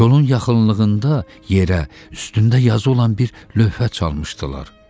Kolun yaxınlığında yerə üstündə yazı olan bir lövhə çalmışdılar.